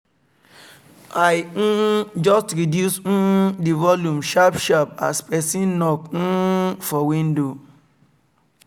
i um just reduce um the volume sharp sharp as person knok um for window